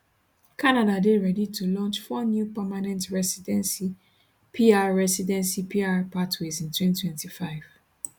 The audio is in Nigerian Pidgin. canada dey ready to launch four new permanent recidency pr recidency pr pathways in 2025